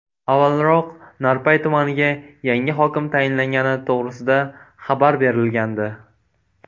Avvalroq Narpay tumaniga yangi hokim tayinlangani to‘g‘risida xabar berilgandi .